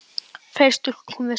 Fleiri stúlkur koma við sögu.